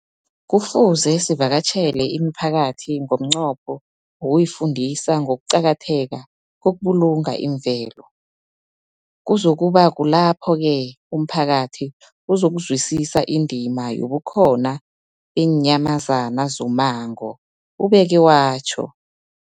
Kufuze sivakatjhele imiphakathi ngomnqopho wokuyifundisa ngokuqakatheka kokubulunga imvelo. Kuzoku ba kulapho-ke umphakathi uzokuzwisisa indima yobukhona beenyamazana zommango, ubeke watjho.